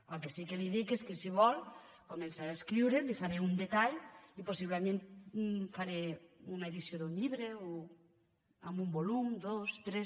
el que sí que li dic és que si vol començaré a escriure i li faré un detall i possiblement faré una edició d’un llibre amb un volum dos tres